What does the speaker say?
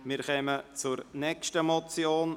Wir kommen zur nächsten Motion.